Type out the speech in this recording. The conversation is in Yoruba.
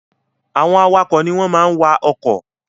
Àwọn awakọ̀ ní wọ́n máa n wa ọkọ̀ Drivers are those that drive cars